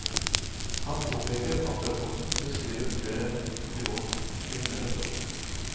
Han påpeker at rapporten beskriver flere grovt kriminelle forhold.